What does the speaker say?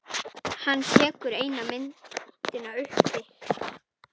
Hann tekur eina myndina upp.